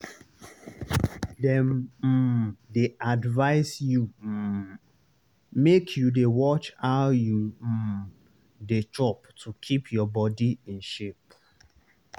dem um dey advise you um make you dey watch how you um dey chop to keep your body in shape.